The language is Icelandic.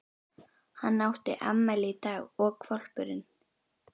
Hann átti afmæli í dag og hvolpurinn